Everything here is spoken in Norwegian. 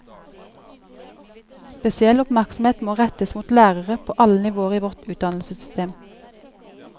Spesiell oppmerksomhet må rettes mot lærere på alle nivåer i vårt utdannelsessystem.